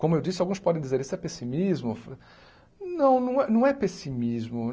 Como eu disse, alguns podem dizer isso é pessimismo. Não não é não é pessimismo